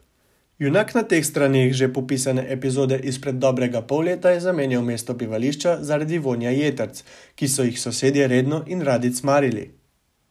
Junak na teh straneh že popisane epizode izpred dobrega pol leta je zamenjal mesto bivališča zaradi vonja jetrc, ki so jih sosedje redno in radi cmarili.